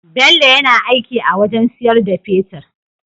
Bello yAna aiki a wajan siyar da fetir